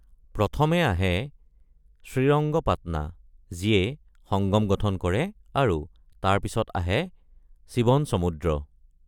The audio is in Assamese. প্ৰথমে আহে শ্ৰীৰংগপাট্না, যিয়ে সংগম গঠন কৰে, আৰু তাৰ পিছত আহে শিৱনসমুদ্ৰ।